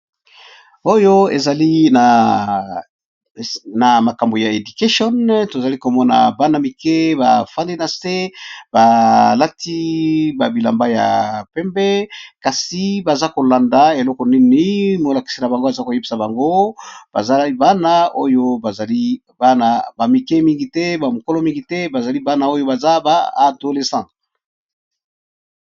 Oyo ezali na makambo ya education tozali komona bana mike bafandi nase balati ba bilamba ya pembe kasi baza kolanda eloko nini molakise na bango baza koyebisa bango bazali bana oyo bazali ana ba mike mingi te bamokolo mingi te bazali bana oyo baza ba adolescent.